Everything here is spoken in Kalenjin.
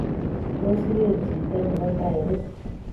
Tos, igeer kito nebo tairit?